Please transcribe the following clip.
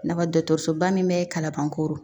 I n'a fɔ dɔkɔtɔrɔsoba min be kalabankoro